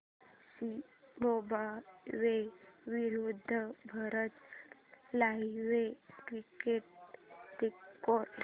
Zimbabwe विरूद्ध Bharat live cricket score